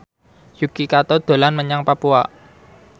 Yuki Kato dolan menyang Papua